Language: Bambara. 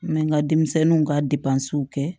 N bɛ n ka denmisɛnninw ka kɛ